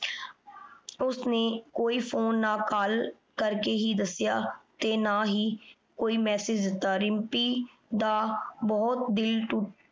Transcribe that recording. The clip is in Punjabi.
ਓਸਨੇ ਕੋਈ ਫੋਨੇ ਨਾ call ਕਰ ਕੇ ਦਸਿਆ ਤੇ ਨਾ ਹੀ ਕੋਈ message ਦਿਤਾ ਰਿਮ੍ਪੀ ਦਾ ਬੋਹਤ ਦਿਲ ਟੁੱਟ